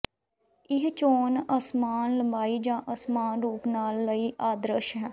ਇਹ ਚੋਣ ਅਸਮਾਨ ਲੰਬਾਈ ਜਾਂ ਅਸਮਾਨ ਰੂਪ ਦੇ ਨਾਲਾਂ ਲਈ ਆਦਰਸ਼ ਹੈ